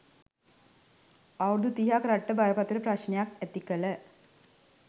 අවුරුදු තිහක් රටට බරපතළ ප්‍රශ්න ඇතිකළ